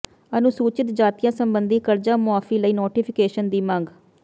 ਅਨੁਸੂਚਿਤ ਜਾਤੀਆਂ ਸਬੰਧੀ ਕਰਜ਼ਾ ਮੁਆਫ਼ੀ ਲਈ ਨੋਟੀਫੀਕੇਸ਼ਨ ਦੀ ਮੰਗ